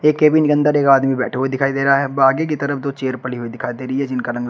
cabin के अंदर एक आदमी बैठे हुए दिखाई दे रहा है बाकी की तरफ दो चेयर पड़ी हुई दिखाई दे रही है जिनका रंग ला--